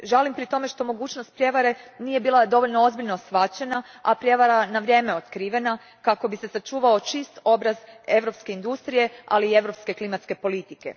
Žalim pri tome što mogućnost prijevare nije bila dovoljno ozbiljno shvaćena, a prijevara na vrijeme otkrivena, kako bi se sačuvao čist obraz europske industrije, ali i europske klimatske politike.